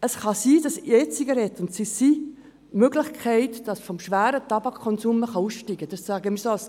Es kann nämlich sein, dass die E-Zigarette als Ausstiegsmittel für den schweren Tabakkonsum dienen kann.